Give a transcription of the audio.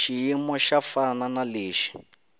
xiyimo xo fana na lexi